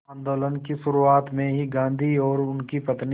आंदोलन की शुरुआत में ही गांधी और उनकी पत्नी